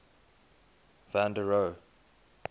van der rohe